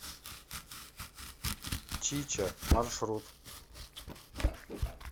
чича маршрут